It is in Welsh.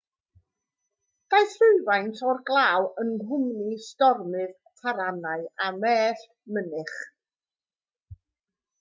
daeth rhywfaint o'r glaw yng nghwmni stormydd taranau a mellt mynych